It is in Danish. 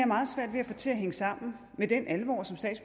meget svært ved at få til at hænge sammen med den alvor